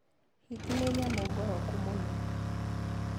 Hiti nĩ nyamũ ngoroku mũno.